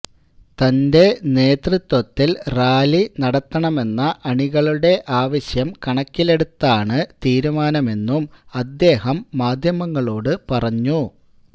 തന്റെ നേതൃത്വത്തില് റാലി നടത്തണമെന്ന അണികളുടെ ആവശ്യം കണക്കിലെടുത്താണ് തീരുമാനമെന്നും അദ്ദേഹം മാധ്യമങ്ങളോടു പറഞ്ഞു